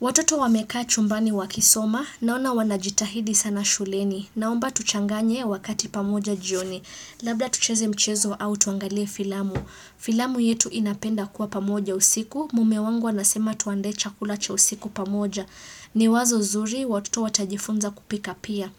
Watoto wamekaa chumbani wakisoma, naona wanajitahidi sana shuleni, naomba tuchanganye wakati pamoja jioni, labda tucheze mchezo au tuangalie filamu. Filamu yetu inapenda kuwa pamoja usiku, mume wangu anasema tuandae chakula cha usiku pamoja. Ni wazo zuri, watoto watajifunza kupika pia.